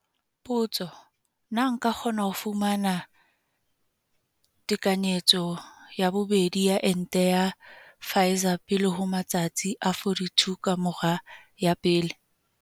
Potso- Na nka kgona ho fumana tekanyetso ya bobedi ya ente ya Pfizer pele ho matsatsi a 42 ka mora ya pele?